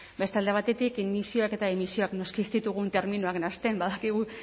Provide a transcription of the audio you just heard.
beste alde batetik emisioak eta emisioak noski ez ditugun terminoak nahasten badakigu